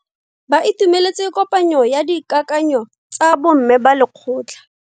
Ba itumeletse kopanyo ya dikakanyo tsa bo mme ba lekgotla.